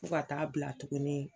Fo ka taa bila tuguni